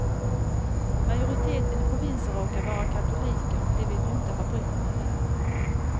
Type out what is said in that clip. Majoriteten i provinsen råkar vara katoliker och de vill ju inte ha britterna där.